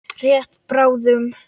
Rétt bráðum.